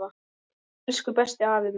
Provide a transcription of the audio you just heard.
Elsku besti, afi minn.